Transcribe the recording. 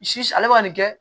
Si ale bɛ ka nin kɛ